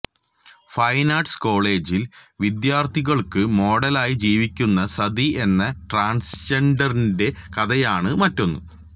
fine arts കോളേജിൽ വിദ്യാർത്ഥികൾക്കു മോഡലായി ജീവിക്കുന്ന സതി എന്ന ട്രാൻസ്ജെൻഡറിന്റെ കഥയാണ് മറ്റൊന്ന്